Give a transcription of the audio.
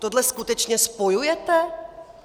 Tohle skutečně spojujete?